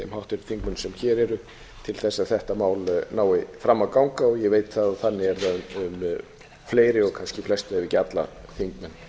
háttvirtu þingmönnum sem hér eru til þess að þetta mál nái fram að ganga og ég veit það að þannig er það um fleiri og kannski flesta ef ekki alla þingmenn